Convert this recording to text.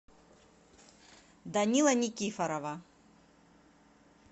данила никифорова